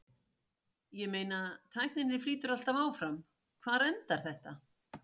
Ég meina tækninni flýtur alltaf áfram, hvar endar þetta?